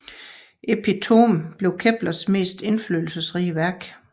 Epitome blev Keplers mest indflydelsesrige værk